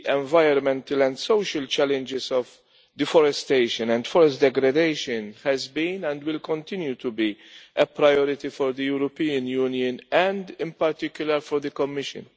the environmental and social challenges of deforestation and forest degradation has been, and will continue to be, a priority for the European Union, and in particular for the Commission.